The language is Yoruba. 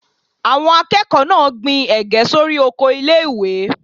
Àwọn akẹ́kọ̀ọ́ náà gbin Ẹ̀gẹ́ sórí oko ilé ìwé.